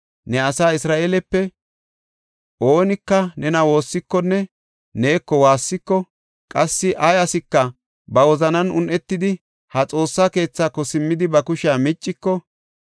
ne asa Isra7eelepe oonika nena woossikonne neeko waassiko qassi ay asika ba wozanan un7etidi ha Xoossa keethaako simmidi ba kushiya micciko,